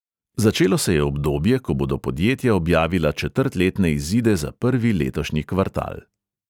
Začelo se je obdobje, ko bodo podjetja objavila četrtletne izide za prvi letošnji kvartal.